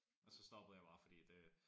Og så stoppede jeg bare fordi det